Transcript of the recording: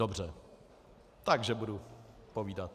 Dobře, takže budu povídat.